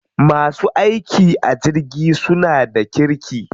Masu aiki a jirgi suna da kirki.